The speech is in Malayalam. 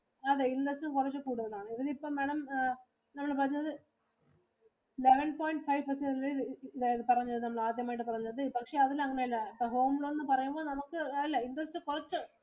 അതെ ഇതിനകത്തു കുറച്ചു കൂടുതൽ ആണ്. ഇതിനിപ്പം Madam നമ്മള് പറഞ്ഞത് Eleven point five percentage പറഞ്ഞത് നമ്മൾ ആദ്യമായിട്ട് പറഞ്ഞത് പക്ഷെ അതിനു അങ്ങിനെ അല്ല ഇപ്പൊ home loan എന്ന് പറയുമ്പോൾ നമുക്ക് അല്ല ഇപ്പോഴത്തെ cost